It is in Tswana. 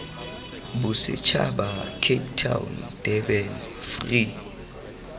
bosetšhaba cape town durban free